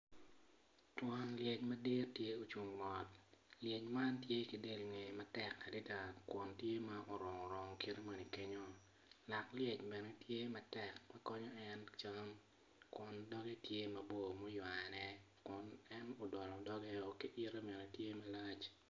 Twon lyec madit tye ocung mot, lyec man tye ki dye ngeye matek adada kun tye orung orung kenyu lak lyec man tye ma dit kun doge tye ma omane.